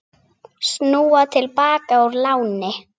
Snúa til baka úr láni